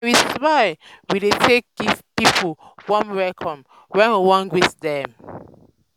na wit smile we dey take give pipo warm welcome wen we wan greet dem.